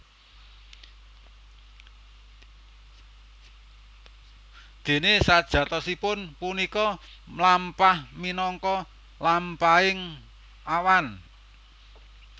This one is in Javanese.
Déné sajatosipun punika mlampah minangka lampahaning awan